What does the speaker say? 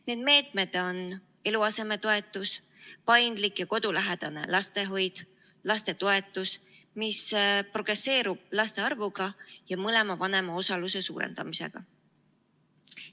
Need meetmed on eluasemetoetus, paindlik ja kodulähedane lastehoid, lastetoetus, mis progresseerub laste arvuga ja mõlema vanema osaluse suurendamisega.